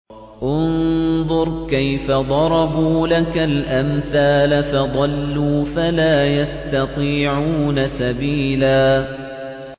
انظُرْ كَيْفَ ضَرَبُوا لَكَ الْأَمْثَالَ فَضَلُّوا فَلَا يَسْتَطِيعُونَ سَبِيلًا